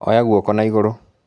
Oya guoko na igũrũ